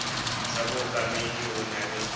sa bookamedi ho na le